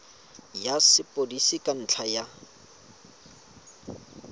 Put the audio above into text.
ya sepodisi ka ntlha ya